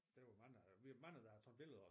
Der var mange eller vi er mange der har taget billeder